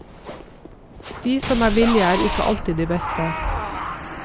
De som er villige, er ikke alltid de beste.